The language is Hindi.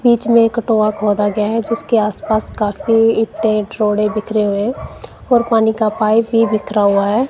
बीच में ये कटोवा खोदा गया हैं जिसके आसपास काफी ईंटे रोडे़ बिखरे हुए और पानी का पाइप ही बिखरा हुवा हैं।